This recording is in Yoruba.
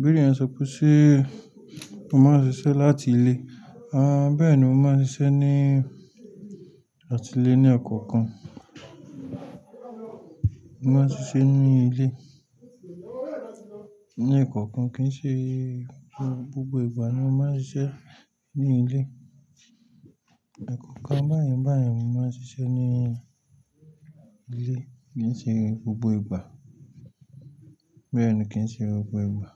Bí èèyàn ṣe kú sí, ó máa ń ṣiṣẹ́ láti ilé. Àn bẹ́ẹ̀ni ó máa ń ṣiṣẹ́ ní láti ilé ní ọ̀kọ̀ọ̀kan. Mó máa ń ṣiṣẹ́ ní ilé ní ọ̀kọ̀ọ̀kan kì í ṣe gbogbo ìgbà ni ó máa ń ṣiṣẹ́ ní ilé. Ẹkọ̀ọ̀kan báyìí báyìí mò máa ń ṣiṣẹ́ ní ilé kì í ṣe gbogbo ìgbà. Bẹ́ẹ̀ ni kì í ṣe gbogbo ìgbà.